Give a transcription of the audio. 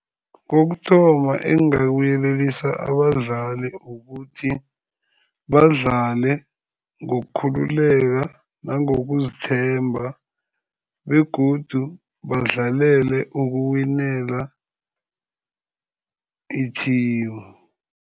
Kokuthoma, engingakuyelelisa abadlali kukuthi badlale ngokukhululeka, nangokuzithemba, begodu badlalele ukuwinela i-team.